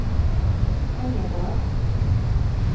Engerdal